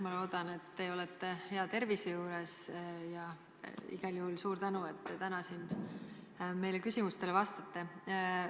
Ma loodan, et te olete hea tervise juures, ja igal juhul suur tänu, et te täna siin meile küsimustele vastate.